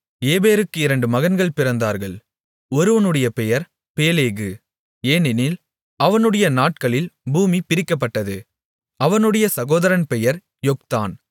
ஏபேருக்கு இரண்டு மகன்கள் பிறந்தார்கள் ஒருவனுடைய பெயர் பேலேகு ஏனெனில் அவனுடைய நாட்களில் பூமி பிரிக்கப்பட்டது அவனுடைய சகோதரன் பெயர் யொக்தான்